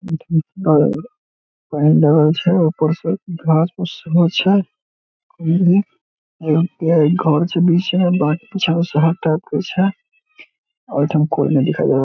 पन्नी डलल छे ऊपर से घास फुस से छावल छे घर छे बीच में बाकि और कोई न दिखाई दे रहल --